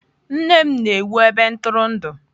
Nne m na-ewu ebe ntụrụndụ.